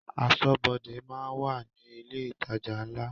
Aṣọ́bọdè máa ń wà ní ilé ìtajà ńlá